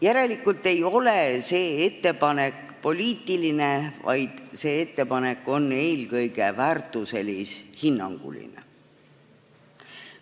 Järelikult ei ole see ettepanek poliitiline, vaid see ettepanek on eelkõige väärtuselis-hinnanguline.